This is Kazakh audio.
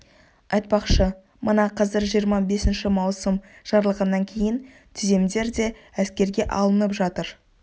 айтпақшы мына қазір жиырма бесінші маусым жарлығынан кейін түземдер де әскерге алынып жатыр